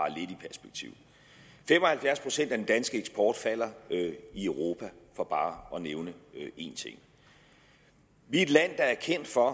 halvfjerds procent af den danske eksport falder i europa for bare at nævne en ting vi er et land der er kendt for